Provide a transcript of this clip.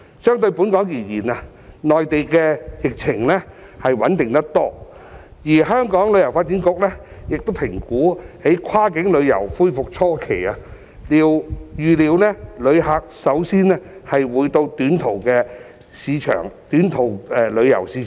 相對本港而言，內地的疫情穩定得多，而香港旅遊發展局評估在跨境旅遊恢復初期，預料旅客首先會到短途的市場旅遊。